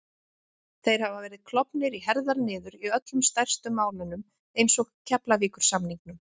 Þeir hafa verið klofnir í herðar niður í öllum stærstu málunum eins og Keflavíkursamningnum